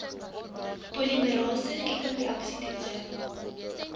polimerase kettingreaksie toetse